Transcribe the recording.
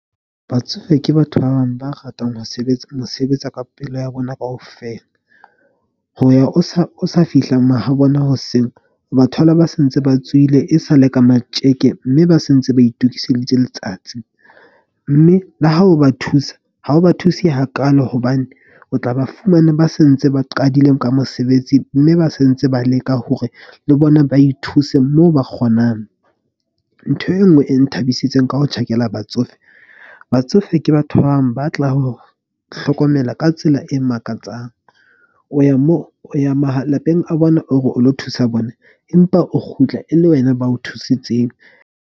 Batsofe ke batho ba bang ba ratang ho sebetsa mo sebetsa ka pelo ya bona kaofela. Ho ya o sa fihla mahabo bona hoseng o ba thole, ba sentse ba tswile e sa le ka matjeke. Mme ba se ntse ba itokiseditse letsatsi mme le ha o ba thusa, ha o ba thuse hakaalo. Hobane o tla ba fumane ba sentse ba qadile ka mosebetsi mme ba sentse ba leka hore le bona ba ithuse moo ba kgonang. Ntho e nngwe e nthabisitseng ka ho tjhakela batsofe. Batsofe ke batho ba bang ba tla ho hlokomela ka tsela e makatsang. O ya moo o ya malapeng a bona, o re o lo thusa bona, empa o kgutla e le wena, ba o thusitseng.